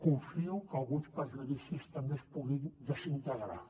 confio que alguns prejudicis també es puguin desintegrar